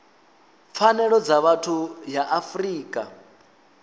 pfanelo dza vhathu ya afrika